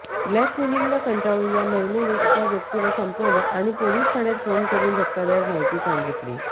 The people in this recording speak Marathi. ब्लॅकमेलिंगला कंटाळून या महिलेनं एका व्यक्तीला संपवलं आणि पोलीस ठाण्यात फोन करून धक्कादायक माहिती सांगितली